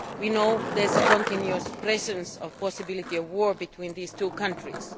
We know there is a continuous presence of the possibility of war between these two countries.